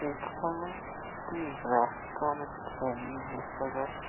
এখানে একটি রাস্তার ছবি দেখা যাচ্ছে ।